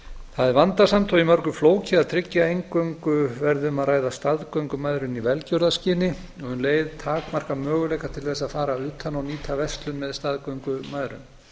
það er vandasamt og í mörgu flókið að tryggja að eingöngu verði um að ræða staðgöngumæðrun í velgjörðarskyni og um leið takmarka möguleika til að fara utan og nýta verslun með staðgöngumæðrun